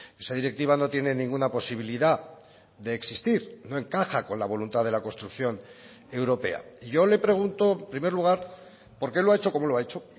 esa directiva no tiene ninguna posibilidad de existir no encaja con la voluntad de la construcción europea yo le pregunto en primer lugar por qué lo ha hecho como lo ha hecho